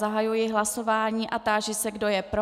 Zahajuji hlasování a táži se, kdo je pro.